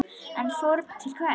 En fórn til hvers?